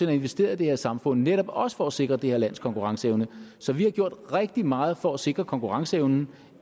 har investeret i det her samfund netop også for at sikre det her lands konkurrenceevne så vi har gjort rigtig meget for at sikre konkurrenceevnen